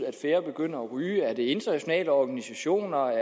at færre begynder at ryge eller er det internationale organisationer